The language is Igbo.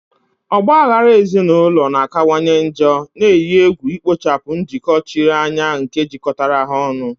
Ọgba aghara ezinụlọ na-akawanye njọ, na-eyi egwu ikpochapụ njikọ chiri anya nke jikọtara ha ọnụ.